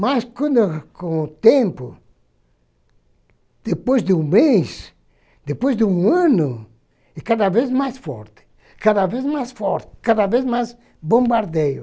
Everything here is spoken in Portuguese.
Mas quando com o tempo, depois de um mês, depois de um ano, e cada vez mais forte, cada vez mais forte, cada vez mais bombardeio.